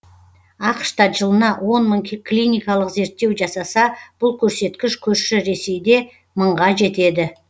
ақш та жылына он мың клиникалық зерттеу жасаса бұл көрсеткіш көрші ресейде мыңға жетеді